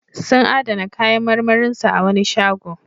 Sun adana kayan marmarin su a wani shago.